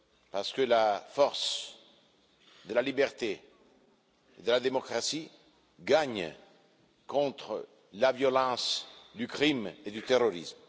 Parce que la force de la liberté et de la démocratie gagne contre la violence du crime et du terrorisme.